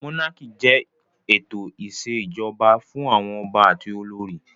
Mónákì jẹ́ ètò ìṣèjọba fún àwọn ọba àti olórí